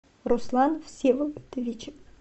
руслан всеволодович